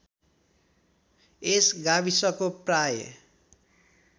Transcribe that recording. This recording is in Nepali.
यस गाविसको प्राय